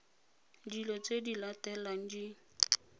dilo tse di latelang di